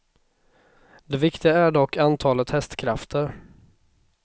Det viktiga är dock antalet hästkrafter.